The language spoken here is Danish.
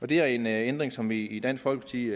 det er en ændring som vi i dansk folkeparti